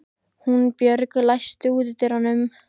Húnbjörg, læstu útidyrunum.